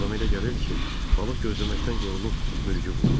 Adama elə gəlirdi ki, balıq gözləməkdən yorulub mürgü vurur.